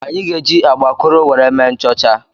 Anyị ga-eji agbakụrụ were mee nchọcha.